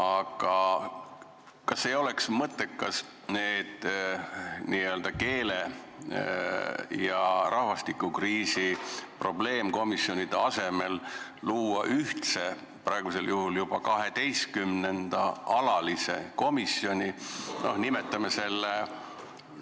Aga kas ei oleks mõttekas nende n-ö keele ja rahvastikukriisi probleemkomisjonide asemel luua ühtne, praegusel juhul juba 12. alatine komisjon?